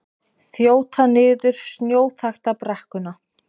Þjóta niður snjóþakta brekkuna